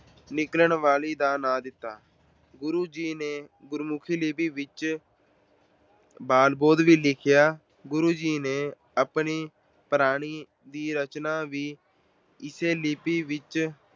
ਨਿਕਲਣ ਵਾਲੀ ਦਾ ਨਾਂ ਦਿੱਤਾ। ਗੁਰੂ ਜੀ ਨੇ ਗੁਰਮੁਖੀ ਵਿੱਚ ਬਾਲ-ਬੋਧ ਵੀ ਲਿਖਿਆ। ਗੁਰੂ ਜੀ ਨੇ ਆਪਣੀ ਬਾਣੀ ਦੀ ਰਚਨਾ ਵੀ ਇਸੇ ਲਿਪੀ ਵਿੱਚ